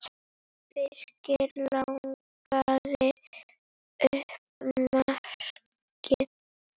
Birkir lagði upp markið.